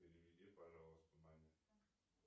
переведи пожалуйста маме